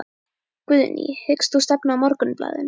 Guðný: Hyggst þú stefna Morgunblaðinu?